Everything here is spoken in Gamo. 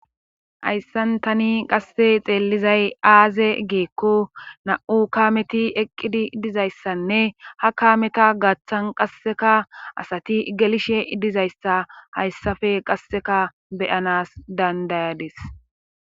Hayssan tani qasse xeellizay aaze geekko na7u kaameti eqqidi dizayssanne ha kaameta gaththan qasseka asati gelishe idizayssa hayssafe qasseka beyanas dandayades.